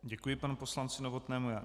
Děkuji panu poslanci Novotnému.